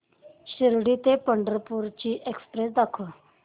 शिर्डी ते पंढरपूर ची एक्स्प्रेस दाखव